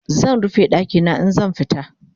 zan rufe ɗakina in zan fita